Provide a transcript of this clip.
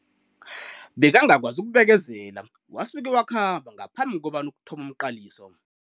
Bekangakwazi ukubekezela wasuke wakhamba ngaphambi kobana kuthome umqaliso.